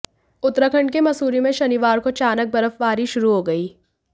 उत्तराखंड के मसूरी में शनिवार को अचानक बर्फबारी शुरू हो गई